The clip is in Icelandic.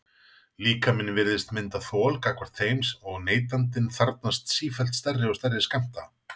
Líkaminn virðist mynda þol gagnvart þeim og neytandinn þarfnast sífellt stærri og stærri skammta.